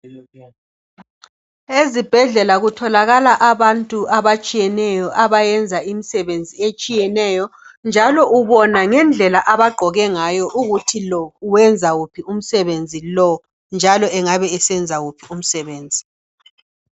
Ezibhedlela kutholakala abantu abatshiyeneyo abayenza imsebenzi etshineyo njalo ubona ngendlela abagqoke ngayo ukuthi lo wenza uphi umsebenzi lo njalo engabe esenza wuphi umsebenzi.